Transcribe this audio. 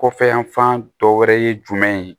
Kɔfɛ yanfan dɔ wɛrɛ ye jumɛn ye